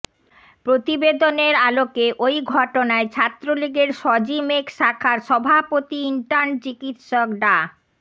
প্রতিবেদনের আলোকে ওই ঘটনায় ছাত্রলীগের শজিমেক শাখার সভাপতি ইন্টার্ন চিকিৎসক ডা